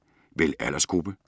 Vælg aldersgruppe